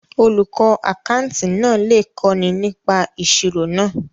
Olùkọ́ àkátì náà lè kọ́ni nípa ìṣirò náà.